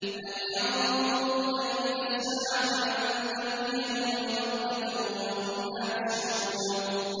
هَلْ يَنظُرُونَ إِلَّا السَّاعَةَ أَن تَأْتِيَهُم بَغْتَةً وَهُمْ لَا يَشْعُرُونَ